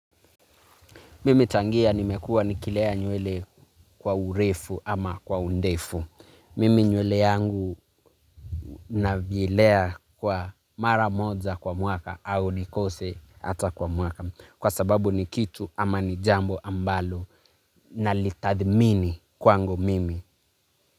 Mimi tangia nimekua nikilea nywele kwa urefu ama kwa undefu. Mimi nywele yangu navyelea kwa mara moja kwa mwaka au nikose hata kwa mwaka. Kwa sababu ni kitu ama ni jambo ambalo na litathmini kwa ngo mimi.